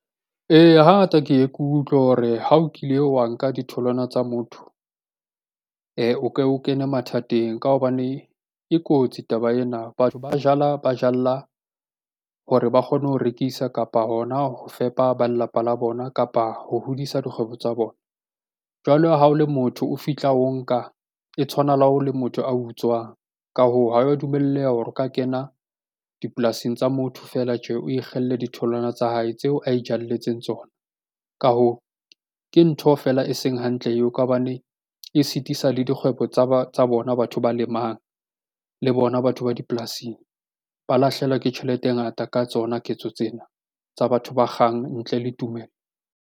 Eya, hangata ke ye ke utlwe hore ha o kile wa nka ditholwana tsa motho e o ke o kene mathateng ka hobane e kotsi taba ena. Batho ba jala hore ba kgone ho rekisa kapa hona ho fepa ba lelapa la bona kapa ho hodisa dikgwebo tsa bona. Jwale ha o le motho o fihla o nka e tshwana le ha o le motho a utswang. Ka hoo, ha wa dumellwa hore o ka kena dipolasing tsa motho feela tje o ikgelle ditholwana tsa hae tseo a itjalletse tsona. Ka hoo ke ntho feela e seng hantle eo ka hobane e sitisa le dikgwebo tsa ba tsa bona batho ba lemang le bona batho ba dipolasing ba lahlehelwa ke tjhelete e ngata ka tsona ketso tsena tsa batho ba kgang ntle le tumelo.